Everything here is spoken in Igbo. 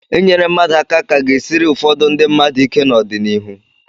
Inyere mmadụ aka ka ga-esiri ụfọdụ ndị mmadụ ike n'ọdịnihu.